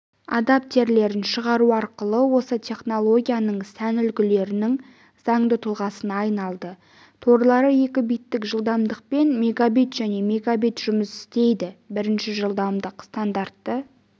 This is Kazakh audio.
адаптерлерін шығару арқылы осы технологияның сән үлгілерінің заңды тұлғасына айналды торлары екі биттік жылдамдықпен мегабит және мегабит жұмыс істейді бірінші жылдамдық стандарты